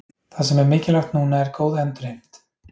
Það sem er mikilvægt núna er góð endurheimt.